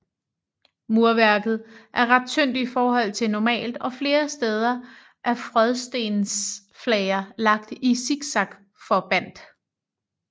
Murværket er ret tyndt i forhold til normalt og flere steder er frådstensflager lagt i siksakforbandt